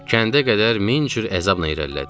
Kəndə qədər min cür əzabla irəlilədik.